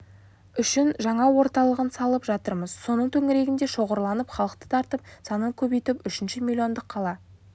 үшін жаңа орталығын салып жатырмыз соның төңірегінде шоғырланып халықты тартып санын көбейтіп үшінші милиондық қала